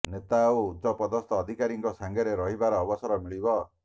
ନେତା ଓ ଉଚ୍ଚପଦସ୍ଥ ଅଧିକାରୀଙ୍କ ସାଙ୍ଗରେ ରହିବାର ଅବସର ମିଳିବ